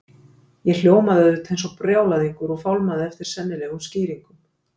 Ég hljómaði auðvitað eins og brjálæðingur og fálmaði eftir sennilegum skýringum.